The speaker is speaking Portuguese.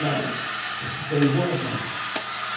Não, você está em boas mãos.